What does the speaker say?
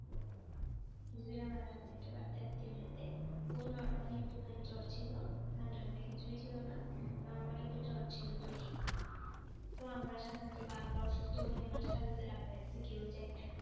কিছুদিন আগে আমাদের একটা বাচ্চা আত্মীয়র মধ্যে ওর normally একটুখানি জ্বর ছিল, ঠান্ডা টান্ডা কিছুই ছিল না, normally একটু জ্বর ছিল দুইদিন তো আমরা সাধারণত বা আমরা অসুস্থ হলে মাত্র সাথে সাথে ডাক্তারের কাছে কেউই যায় না।